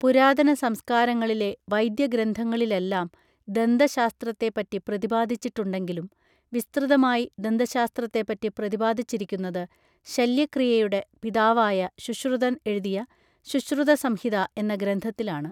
പുരാതന സംസ്കാരങ്ങളിലെ വൈദ്യഗ്രന്ഥങ്ങളിലെല്ലാം ദന്തശാസ്ത്രത്തെപ്പറ്റി പ്രതിപാദിച്ചിട്ടുണ്ടെങ്കിലും വിസ്തൃതമായി ദന്തശാസ്ത്രത്തെപ്പറ്റി പ്രതിപാദിച്ചിരിക്കുന്നത് ശല്യക്രീയയുടെ പിതാവായ ശുശ്രുതൻ എഴുതിയ ശുശ്രുതസംഹിത എന്ന ഗ്രന്ഥത്തിലാണ്